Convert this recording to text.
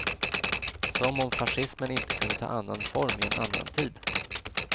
Som om fascismen inte kunde ta annan form i en annan tid.